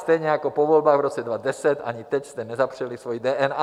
stejně jako po volbách v roce 2010, ani teď jste nezapřeli svoji DNA.